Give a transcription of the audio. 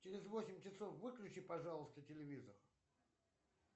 через восемь часов выключи пожалуйста телевизор